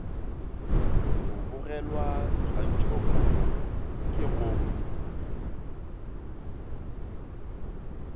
go bogelwa tshwantšhokgopolo ke go